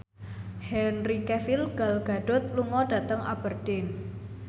Henry Cavill Gal Gadot lunga dhateng Aberdeen